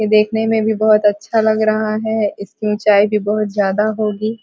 यह देखने में भी बहुत अच्छा लग रहा है इसकी ऊंचाई भी बहुत ज्यादा होगी ।